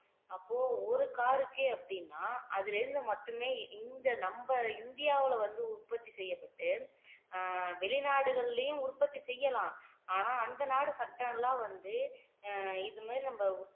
அப்போ ஒரு car க்கே அப்படின்னா அதிலிருந்து மட்டுமே இந்த நம்ம இந்தியாவுல வந்து உற்பத்தி செய்யப்பட்டு அஹ் வெளிநாடுகள்லயும் உற்பத்தி செய்யலாம் ஆனா அந்த நாடு சட்டம் எல்லாம் வந்து இது மாதிரி நம்ம